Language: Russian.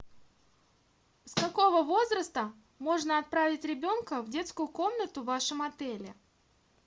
с какого возраста можно отправить ребенка в детскую комнату в вашем отеле